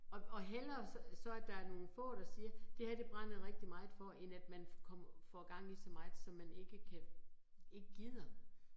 Og og hellere så så, at der er nogle få, der siger, det her det brænder jeg rigtig meget for, end at man, kommer får gang i så meget som man ikke kan ikke gider